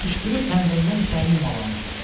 Qışqırıb pəncərədən içəri yumalandılar.